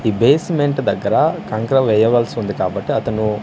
ఈ బేస్మెంట్ దగ్గర కంకర వేయవలసి ఉంది కాబట్టి అతను--